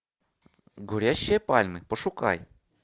горящие пальмы пошукай